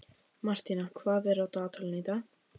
Martína, hvað er á dagatalinu í dag?